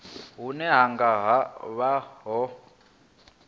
hune hu nga vha ho